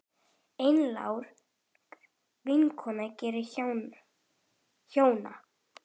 Einlæg vinkona þeirra hjóna.